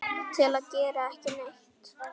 til að gera ekki neitt